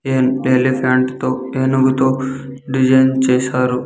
ఎం-- elephant తో ఎనుగుతో design చేశారు.